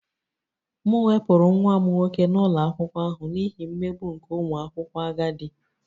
M wepụrụ nwa m nwoke n'ụlọ akwụkwọ ahụ n'ihi mmegbu nke ụmụ akwụkwọ agadi